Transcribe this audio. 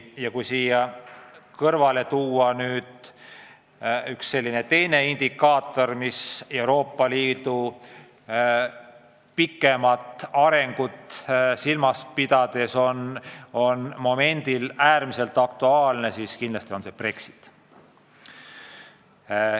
Ja kui siia kõrvale tuua üks teine indikaator, mis Euroopa Liidu pikemat arengut silmas pidades on äärmiselt aktuaalne, siis kindlasti on see Brexit.